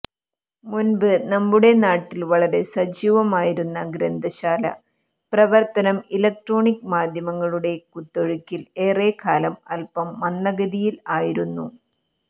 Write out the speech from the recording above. മുന്പ് നമ്മുടെ നാട്ടിൽ വളരെ സജീവമായിരുന്ന ഗ്രന്ഥശാല പ്രവർത്തനം ഇലക്ട്രോണിക് മാധ്യമങ്ങളുടെ കുത്തൊഴുക്കിൽ ഏറെക്കാലം അൽപ്പം മന്ദഗതിയിൽ ആയിരുന്നു